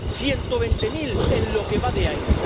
Ciento veinte mil en lo que va de año.